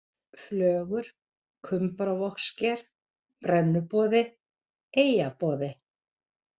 Flögur, Kumbaravogssker, Brennuboði, Eyjaboði